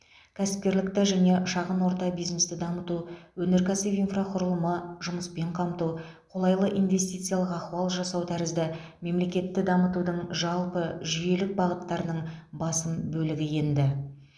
кәсіпкерлікті және шыған орта бизнесті дамыту өнеркәсіп инфрақұрылымы жұмыспен қамту қолайлы инвестициялық ахуал жасау тәрізді мемлекетті дамытудың жалпы жүйелік бағыттарының басым бөлігі енді